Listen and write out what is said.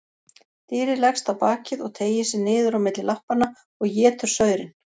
Dýrið leggst á bakið og teygir sig niður á milli lappanna og étur saurinn.